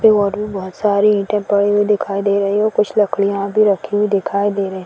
और भी बहोत सारी ईटें पड़ी हुई दिखाई दे रहीं । कुछ लकड़ियां भी रखी हुई दिखाई दे रहीं --